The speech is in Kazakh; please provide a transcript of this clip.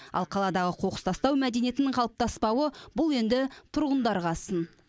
ал қаладағы қоқыс тастау мәдениеті қалыптаспауы бұл енді тұрғындарға сын